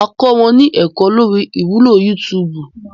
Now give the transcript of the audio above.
Máa kọ wọn ní ẹ̀kó lórí ìwúlò yútúúbù.